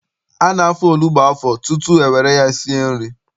A na-afọ onugbu afọ tutu e were ya sie nri.